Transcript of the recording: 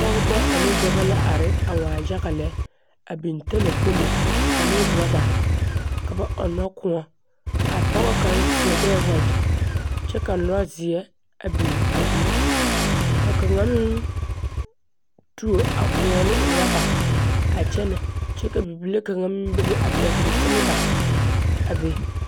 Pͻgebͻ ane dͻbͻ la are a waa yage lԑ. A biŋ talakpomo ane orͻba, ka ba ͻnnͻ kõͻ. A pͻge kaŋa seԑgԑԑ wagyԑ kyԑ ka lͻzeԑ a biŋ a be. Ka kaŋa meŋ tuo a kõͻ ane orͻba a kyԑnԑ kyԑ ka bibile kaŋa meŋ bebe a pԑgele seleba a be.